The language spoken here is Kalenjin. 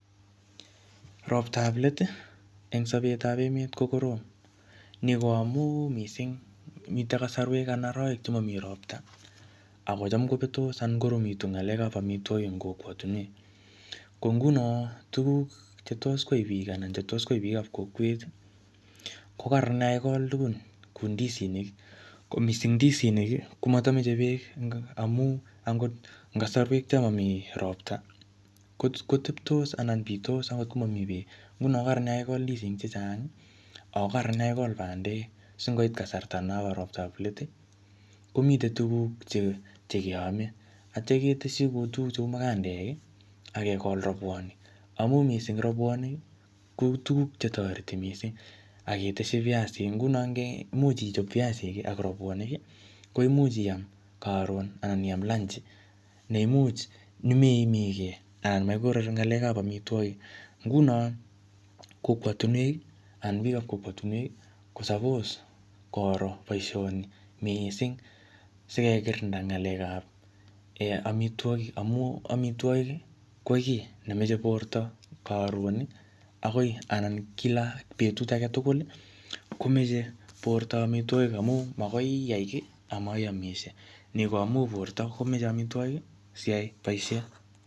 Roptap let, eng sapetap eet, ko korom. Ni ko amu missing, mitei kasarwek anan arawek che mamii ropta, akocham kobetos anan koromitu ng'alekap amitwogik eng kokwatunwek. Ko nguno, tuguk che tos kwai biik anan chetos kwai biik ap kokwet, ko kararan yekakigol tugun kou ndisinik. Ko missing ndisinik, komatameche beek amu angot eng kasarwek cho mamii ropta, kote-koteptos anan bitos angot ko mamii beek. Nguno ko kararan yekakigol ndisinik chechang, ako kararan yekakigol bandek, singoit kasarta nobo roptap let, komite tuguk che-che keame. Atya keteshi ku tuguk cheu mukandek akegol robwonik. Amu missing robwonik, kou tuguk che toreti missing aketeshi piasik. Nguno nge imuch ichop piasik ak robwonik, koimuch iam karon anan iam lanji, neimuch nemeimigei anan makikorori ng'alekap amitwogik. Nguno kokwotunwek, anan biik ap kokowtunwek, ko suppose koro boisoni missing. Sikekirinda ng'alekap amitwogik. Amu amitwogik, ko kiy nemeche borto karon, akoi anan kila betut age tugul, komeche borto amitwogik amu magoi iyai kiy, amaiamisie. Ni ko amu borto komeche amitwogik siyai boisiet.